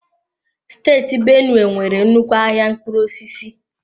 Steeti Benue nwere nnukwu ahịa mkpụrụ osisi.